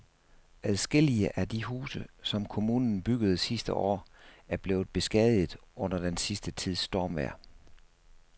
Adskillige af de huse, som kommunen byggede sidste år, er blevet beskadiget under den sidste tids stormvejr.